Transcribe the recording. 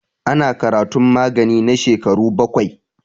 Ana karatun magani na shekaru baƙwai.